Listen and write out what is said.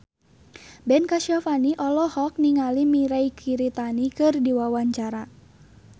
Ben Kasyafani olohok ningali Mirei Kiritani keur diwawancara